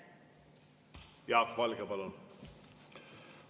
Jaak Valge, palun!